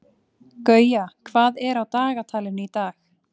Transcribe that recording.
Gauja, hvað er á dagatalinu í dag?